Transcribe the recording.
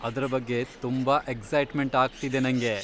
ಅದ್ರ ಬಗ್ಗೆ ತುಂಬಾ ಎಕ್ಸೈಟ್ಮೆಂಟ್ ಆಗ್ತಿದೆ ನಂಗೆ.